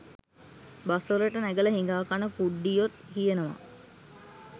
bus වලට නැගල හිඟාකන කුඩ්ඩියොත් කියනවා